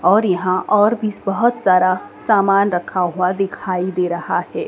और यहां ओर भी बहोत सारा सामान रखा हुआ दिखाई दे रहा है।